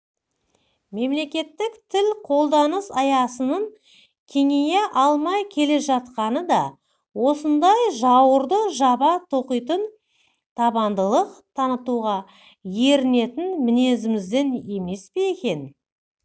мемлекеттік тіл қолданыс аясының кеңея алмай келе жатқаны да осындай жауырды жаба тоқитын табандылық танытуға ерінетін мінезімізден емес пе екен